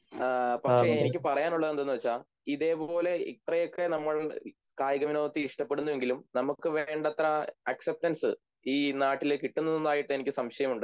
പക്ഷെ എനിക്ക് പറയാനുള്ളത് എന്തെന്നുവെച്ചാൽ ഇതേപോലെ ഇത്രയൊക്കെ നമ്മൾ കായികവിനോദത്തെ ഇഷ്ട്ടപ്പെടുന്നുവെങ്കിലും നമുക്ക് വേണ്ടത്ര അസെപ്റ്റൻസ് ഈ നാട്ടില് കിട്ടുന്നതുമായിട്ട് സംശയമുണ്ട്